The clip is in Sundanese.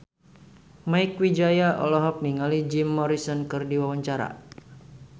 Mieke Wijaya olohok ningali Jim Morrison keur diwawancara